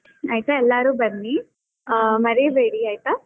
ಆಯ್ತಾ ಎಲ್ಲಾರೂ ಬನ್ನಿ, ಆ ಮರೀಬೇಡಿ ಆಯ್ತ.